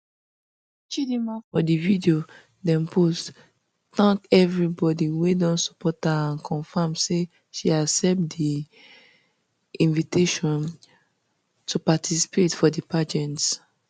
chidimma for di video dem post thank everybody wey don support her and confam say she accept di um invitation um to participate for di pageant